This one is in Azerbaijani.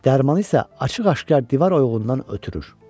Dərmanı isə açıq-aşkar divar oyuğundan ötürür.